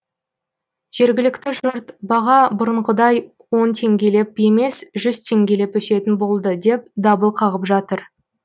жергілікті жұрт баға бұрынғыдай он теңгелеп емес жүз теңгелеп өсетін болды деп дабыл қағып жатыр